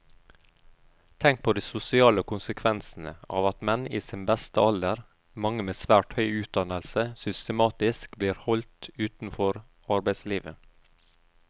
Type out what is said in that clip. Tenk på de sosiale konsekvensene av at menn i sin beste alder, mange med svært høy utdannelse, systematisk blir holdt utenfor arbeidslivet.